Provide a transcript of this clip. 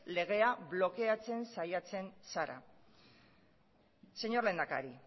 legea blokeatzen saiatzen zara señor lehendakari